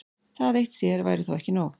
Það eitt sér væri þó ekki nóg.